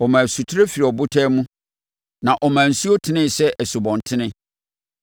Ɔmaa asutire firii abotan mu na ɔmaa nsuo tenee sɛ nsubɔntene.